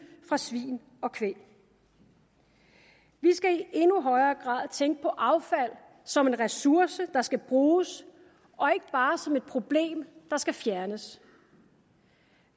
fra svin og kvæg vi skal i endnu højere grad tænke på affald som en ressource der skal bruges og ikke bare som et problem der skal fjernes